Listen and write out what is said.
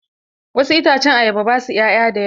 Wasu itacen ayaba ba sua 'ya'ya da yawa.